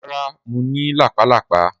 Rara, Mo ni lápá lápá.